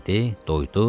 Doydu.